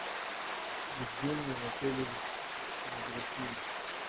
евгений анатольевич мадрахимов